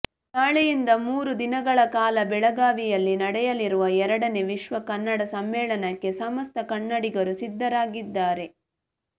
ನಾಳೆಯಿಂದ ಮೂರು ದಿನಗಳ ಕಾಲ ಬೆಳಗಾವಿಯಲ್ಲಿ ನಡೆಯಲಿರುವ ಎರಡನೇ ವಿಶ್ವ ಕನ್ನಡ ಸಮ್ಮೇಳನಕ್ಕೆ ಸಮಸ್ತ ಕನ್ನಡಿಗರು ಸಿದ್ಧರಾಗಿದ್ದಾರೆ